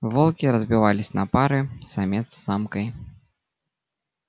волки разбивались на пары самец с самкой